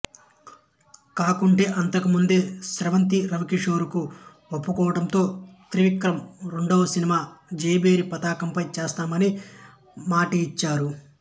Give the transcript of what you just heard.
కాకుంటే అంతకుముందే స్రవంతి రవికిషోర్ కు ఒప్పుకోవడంతో త్రివిక్రం రెండవ సినిమా జయభేరి పతాకంపై చేస్తానని మాటయిచ్చారు